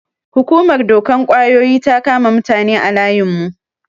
Hukumar dokan ƙwayoyi ta kama mutane a layin mu.